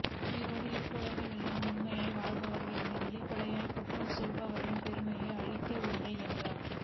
உயிரோடு இருப்பவர் எல்லாம் உண்மையாக வாழ்பவர் இல்லை வெளிப்படையாக குற்றம் செய்பவரின் பெருமையை அழிக்கவில்லை என்றால்